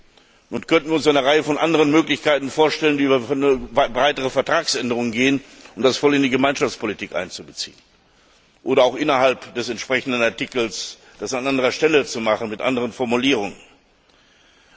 Wir könnten uns eine Reihe anderer Möglichkeiten vorstellen, die über eine breitere Vertragsänderung gehen, um das voll in die Gemeinschaftspolitik einzubeziehen, oder auch innerhalb des entsprechenden Artikels das an anderer Stelle mit anderen Formulierungen zu machen.